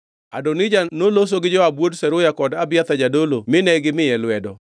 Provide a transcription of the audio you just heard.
Adonija noloso gi Joab wuod Zeruya kod Abiathar jadolo mine gimiye lwedo.